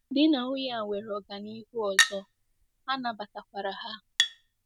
Di na nwunye a nwere ọganihu ọzọ, a nabatakwara ha.